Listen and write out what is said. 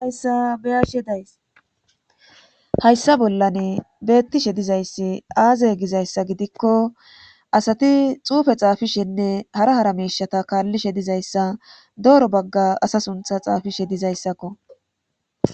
Hayssa beyashe days hayssa bollan bettishe dizayssi aazay gizayssa gidikko asati xuufe xaafishenne hara hara meishata kaallishe dizayssa dooro bagga asa suntha xaafishe dizayssakko.